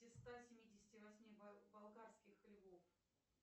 из ста семидесяти восьми болгарских львов